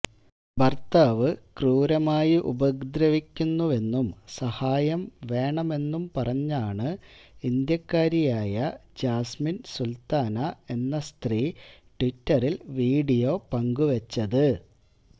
ഭര്ത്താവ് ക്രൂരമായി ഉപദ്രവിക്കുന്നുവെന്നും സഹായം വേണമെന്നും പറഞ്ഞാണ് ഇന്ത്യക്കാരിയായ ജാസ്മിന് സുല്ത്താന എന്ന സ്ത്രീ ട്വിറ്ററില് വീഡിയോ പങ്കുവെച്ചത്